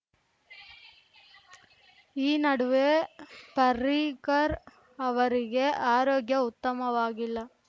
ಈ ನಡುವೆ ಪರಿಕರ್‌ ಅವರಿಗೆ ಆರೋಗ್ಯ ಉತ್ತಮವಾಗಿಲ್ಲ